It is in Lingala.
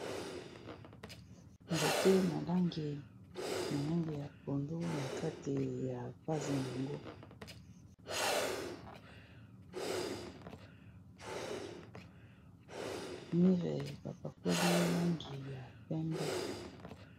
nzete na langi ya pondo na kati ya pase n yango mire bapakoli langi ya pembe